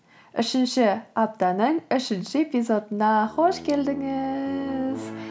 үшінші аптаның үшінші эпизодына қош келдіңіз